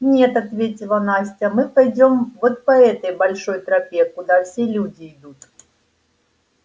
нет ответила настя мы пойдём вот по этой большой тропе куда все люди идут